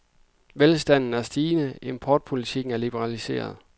Velstanden er stigende, og importpolitikken er liberaliseret.